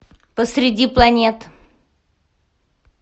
посреди планет